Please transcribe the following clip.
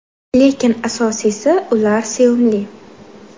Lekin asosiysi, ular sevimli!